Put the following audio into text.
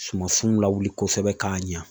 Sumansiw lawuli kosɛbɛ k'a ɲa.